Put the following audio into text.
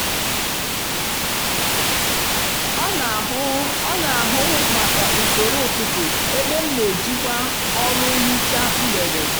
ọ n'ahụ ọ n'ahụ maka usoro ụtụtụ ebe m n'ejikwa ọlụ nhicha mgbede